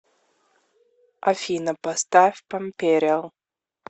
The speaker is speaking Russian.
афина поставь пампериал